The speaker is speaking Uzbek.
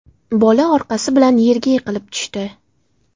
Bola orqasi bilan yerga yiqilib tushdi.